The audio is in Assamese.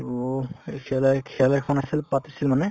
to এই খেলাই খেল এখন আছিল পাতিছিল মানে